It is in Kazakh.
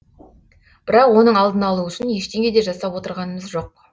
бірақ оның алдын алу үшін ештеңе де жасап отырғанымыз жоқ